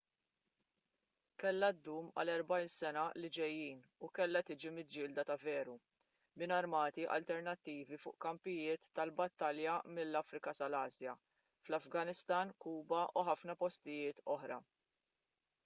kellha ddum għall-40 sena li ġejjin u kellha tiġi miġġielda ta' veru minn armati alternattivi fuq kampijiet tal-battalja mill-afrika sal-asja fl-afganistan kuba u ħafna postijiet oħra